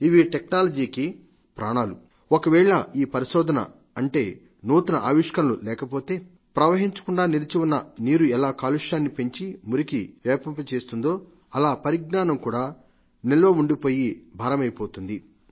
ఇవి టెక్నాలజీ ప్రాణాలు ఒకవేళ ఈ పరిశోధన అంటే నూతన పరికల్పన లేకపోతే ప్రవహించకుండా నిలిచి ఉన్న నీరు ఎలా కాలుష్యాన్ని పెంచి మురికి వ్యాపింపచేస్తుందో అలా పరిజ్ఞానం కూడా కూడా భారమైపోతుంది